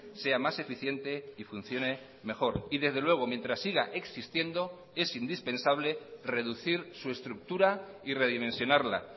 sea más eficiente y funcione mejor y desde luego mientras siga existiendo es indispensable reducir su estructura y redimensionarla